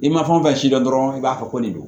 I ma fɛn o fɛn si dɔn dɔrɔn i b'a fɔ ko nin don